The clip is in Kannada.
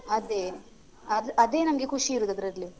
ಅದೇ ಅದ್ ಅದೇ ನಮ್ಗೆ ಖುಷಿ ಇರುದ್ ಅದ್ರಲ್ಲಿ.